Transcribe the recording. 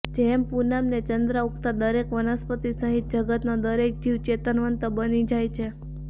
જેમ પૂનમને ચંદ્ર ઊગતાં દરેક વનસ્પતિ સહિત જગતનો દરેક જીવ ચેતનવંતો બની જાય છે